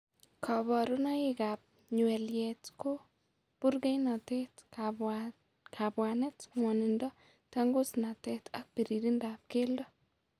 Kaborunoik ab nywelyet ko burkeinotet, kabwanet, ngwonindo, tangusnatet ak biririndab keldo